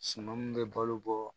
Suman mun bɛ balo bɔ